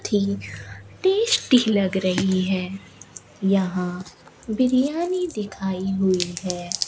Tasty लग रही है यहां बिरयानी दिखाई हुई है।